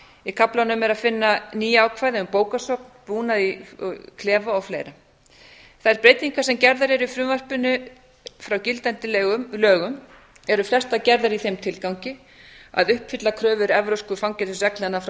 í kaflanum er að finna ný ákvæði um bókasöfn búnað í klefa og fleiri þær breytingar sem gerðar eru í frumvarpinu frá gildandi lögum eru flestar gerðar í þeim tilgangi að uppfylla kröfur evrópsku fangelsisreglnanna frá